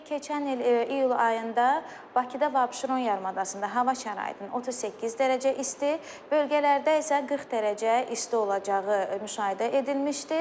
Belə ki, keçən il iyul ayında Bakıda və Abşeron yarımadasında hava şəraitinin 38 dərəcə isti, bölgələrdə isə 40 dərəcə isti olacağı müşahidə edilmişdir.